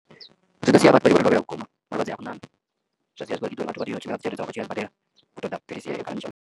Zwi ḓo sia vhathu vha khou balelwa vhukuma malwadze a kho ṋaṋa zwa sia zwi khou ita uri vhathu vha tea u tshimbila nga dzigoloi dzavho vha tshi ya zwibadela u ṱoḓa philisi heyo kana mushonga.